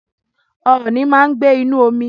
Ooni máa ń gbé inú omi